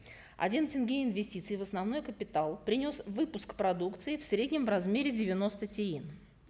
один тенге инвестиций в основной капитал принес выпуск продукции в среднем в размере девяносто тиын